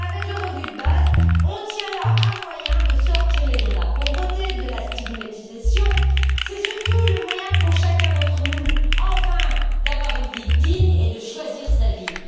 Avec le revenu de base, on tient là un moyen de sortir les gens de la pauvreté, de la stigmatisation. C'est surtout le moyen pour chacun d'entre nous d'avoir enfin une vie digne et de choisir sa